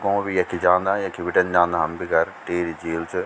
गों भी यखी जांदा यखी बिटेन जांदा हम भी घर टिहरी झील च।